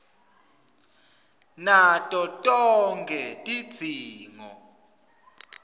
nato tonkhe tidzingo